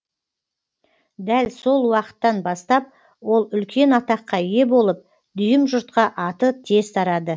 дәл сол уақыттан бастап ол үлкен атаққа ие болып дүйім жұртқа аты тез тарады